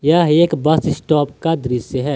यह एक bus stop का दृश्य है।